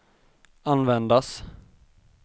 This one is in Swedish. användas